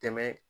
Tɛmɛ